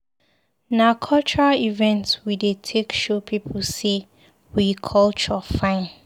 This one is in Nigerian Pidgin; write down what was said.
Na cultural event we dey take show pipu sey we culture fine.